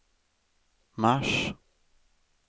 mars